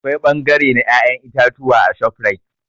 Akwai bangare na ya'yan itatuwa a ShopRite.